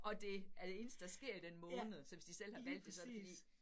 Og det er det eneste, der sker i den måned, så hvis de selv har valgt det så det fordi